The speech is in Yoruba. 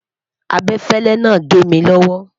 abefele nà gé mí lowo